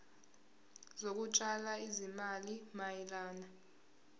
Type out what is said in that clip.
zokutshala izimali mayelana